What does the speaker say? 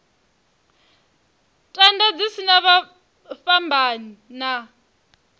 tenda dzi sa fhambani na